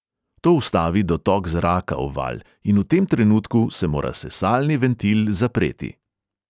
To ustavi dotok zraka v valj in v tem trenutku se mora sesalni ventil zapreti.